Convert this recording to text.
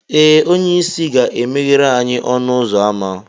Ee, onye isi ga emeghere anyị ọnụ ụzọ ámá